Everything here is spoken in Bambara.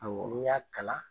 Awɔ, n y'a kala